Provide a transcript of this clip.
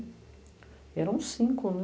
E eram cinco, né?